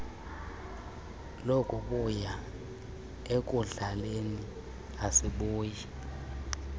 lokubuya ekudlaleni asibuyi